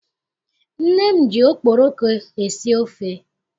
Nne m ji okporoko esi ofe.